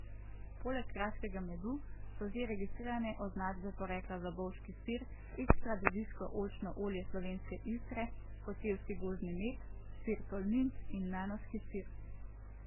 Poleg kraškega medu so že registrirane označbe porekla za bovški sir, ekstra deviško oljčno olje Slovenske Istre, kočevski gozdni med, sir tolminc in nanoški sir.